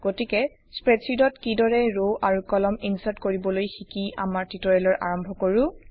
গতিকে স্প্ৰেডশ্বিটত কিদৰে ৰ আৰু কলাম ইনচাৰ্ট কৰিবলৈ শিকি আমাৰ টিউটৰিয়েলৰ আৰম্ভ কৰোঁ